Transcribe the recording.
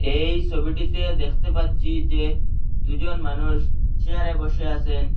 এই সবিটিতে দেখতে পাচ্চি যে দুজন মানুষ চেয়ারে বসে আসেন।